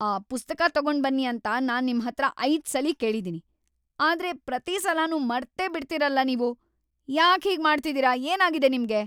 ಆ ಪುಸ್ತಕ ತಗೊಂಡ್ಬನ್ನಿ ಅಂತ ನಾನ್ ನಿಮ್ಹತ್ರ ಐದ್ಸಲ ಕೇಳಿದೀನಿ, ಆದ್ರೆ ಪ್ರತೀ ಸಲನೂ ಮರ್ತೇಬಿಡ್ತೀರಲ ನೀವು. ಯಾಕ್‌ ಹೀಗ್‌ ಮಾಡ್ತಿದೀರ, ಏನಾಗಿದೆ ನಿಮ್ಗೆ?